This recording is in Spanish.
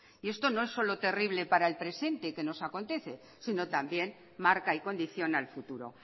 y esto no es solo terrible para el presente que nos acontece sino también marca y condiciona el futuro